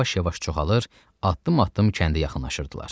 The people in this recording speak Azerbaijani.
Onlar yavaş-yavaş çoxalır, addım-addım kəndə yaxınlaşırdılar.